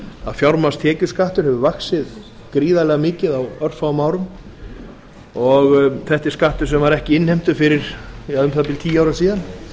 að fjármagnstekjuskattur hefur vaxið gríðarlega mikið á örfáum árum og þetta er skattur sem var ekki innheimtur fyrir um það bil tíu árum síðan